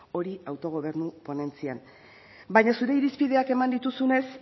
hori autogobernu ponentzian baino zure irizpideak eman dituzunez